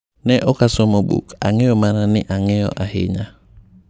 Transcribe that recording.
Ne okasomo buk, ang'eyo mana ni ang'eyo ahinya,"